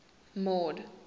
mord